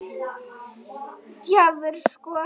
Djarfur sko.